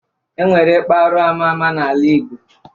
E nwere ikpa arụ ama ama n'ala igbo